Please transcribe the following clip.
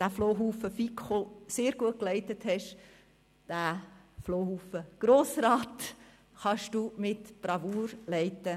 er den «Flohhaufen FiKo» sehr gut geleitet hat, diesen «Flohhaufen Grossrat» ebenfalls mit Bravour zu leiten.